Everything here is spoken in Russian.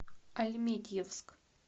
альметьевск